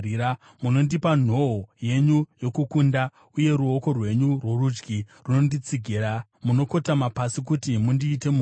Munondipa nhoo yenyu yokukunda, uye ruoko rwenyu rworudyi runonditsigira; munokotama pasi kuti mundiite mukuru.